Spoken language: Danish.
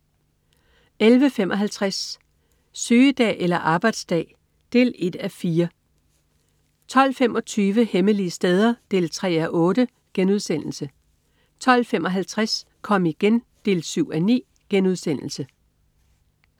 11.55 Sygedag eller arbejdsdag? 1:4 12.25 Hemmelige steder 3:8* 12.55 Kom igen 7:9*